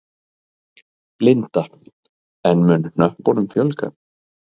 Linda: En mun hnöppunum fjölga?